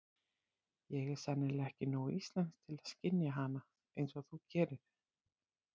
Ég er sennilega ekki nógu íslensk til að skynja hana einsog þú gerir.